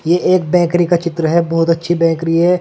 ये एक बेकरी का चित्र है। बहोत अच्छी बेकरी है।